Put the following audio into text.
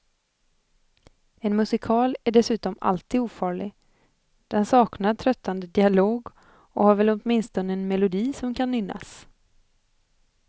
En musikal är dessutom alltid ofarlig, den saknar tröttande dialog och har väl åtminstone en melodi som kan nynnas.